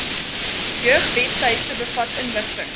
jeugwebtuiste bevat inligting